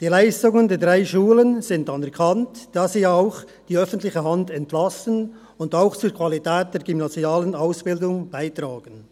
Die Leistungen der drei Schulen sind anerkannt, da sie ja auch die öffentliche Hand entlasten und zur Qualität der gymnasialen Ausbildung beitragen.